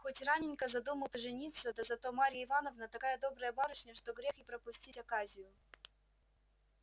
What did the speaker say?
хоть раненько задумал ты жениться да зато марья ивановна такая добрая барышня что грех и пропустить оказию